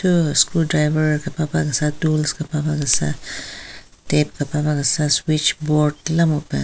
Thu screw driver kepapa kesa tools kepapa kesa tep kepapa kesa switchboard la mupen.